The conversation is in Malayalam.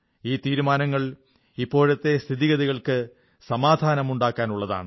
ഈ തീരുമാനങ്ങൾ ഇപ്പോഴത്തെ സ്ഥിതിഗതികൾക്കു സമാധാനമുണ്ടാക്കാനുള്ളതാണ്